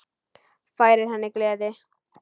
Færir henni gleði.